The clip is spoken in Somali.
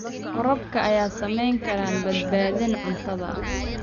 Waraabka ayaa saameyn kara badbaadada cuntada.